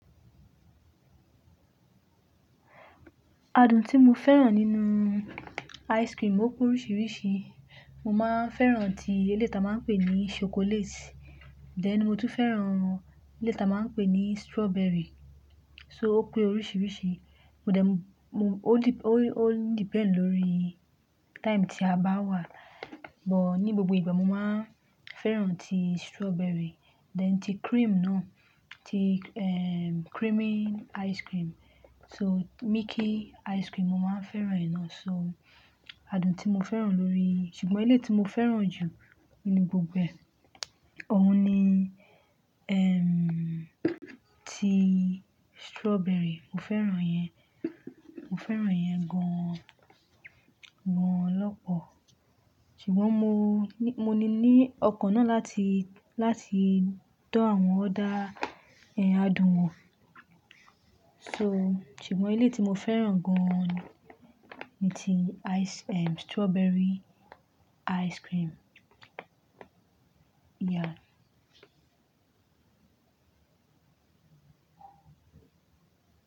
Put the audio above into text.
Adùn tí mo fẹ́ràn nínú ice cream ó pé oríṣiríṣi. Mo máa ń fẹ́ràn tí eleyii ti a máa ń pè ní chocolate, then, mo tún fẹ́ràn tí eleyii ti a máa ń pè ní strawberry. So ó pé oríṣiríṣi. Mo dẹ̀ mú-- ó de- ó, ó depend lórí time tí a bá wà. Bọ̀ ní gbogbo ìgbà mo máa ń fẹ́ràn tí strawberry, then, tí cream náà, tí em creamy ice cream. So milky ice cream mo máa ń fẹ́ràn náa. So adùn tí mo fẹ́ràn lórí-- ṣùgbọ́n ilé tí mo fẹ́ràn jù ní gbogbo ẹ, òun ni em tí strawberry, mo fẹ́ràn iyẹn. Mo fẹ́ràn yẹn gan-an, gan-an lọ́pọ̀. Ṣùgbọ́n mo- mo ní ní ọkàn náà láti, láti dá àwọn other, en adùn wọn. So ṣùgbọ́n ilé tí mo fẹ́ràn gan-an ni tí ice-- ehm strawberry ice cream. Yeah.